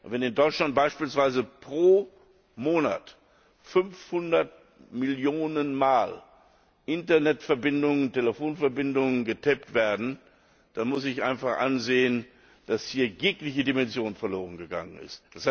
Wenn aber in Deutschland beispielsweise pro Monat 500 Millionen Mal Internetverbindungen, Telefonverbindungen getaped werden, dann muss ich einfach einsehen, dass hier jegliche Dimension verlorengegangen ist.